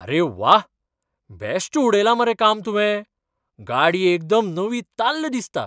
आरे व्वा! बॅश्ट उडयलां मरे काम तुवें. गाडी एकदम नवीताल्ल दिसता!